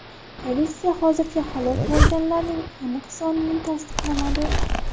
Politsiya hozircha halok bo‘lganlarning aniq sonini tasdiqlamadi.